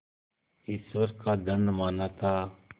ईश्वर का दंड माना था